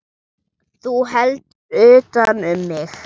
Þú heldur utan um mig.